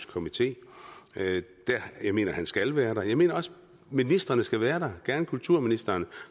komité jeg mener han skal være der jeg mener også ministrene skal være der gerne kulturministeren og